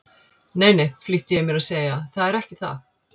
Nei, nei, flýtti ég mér að segja, það er ekki það.